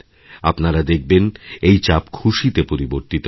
আপনারা দেখবেন এই চাপ খুশিতে পরিবর্তিত হবে